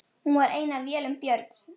Hún var ein af vélum Björns